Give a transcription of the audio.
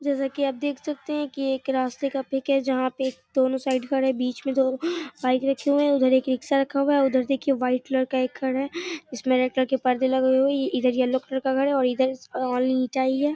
जैसा की आप देख सकते हैं ये एक रास्ते का पिक है जहां पे दोनों साइड खड़े हैं बीच में दो बाइक रखे हुए हैं उधर एक रिक्शा हुआ है उधर देखिए व्हाइट कलर का एक घर है इसमें रेड कलर के परदे लगे हुए हैं इधर येलो कलर का घर है और इधर हैं।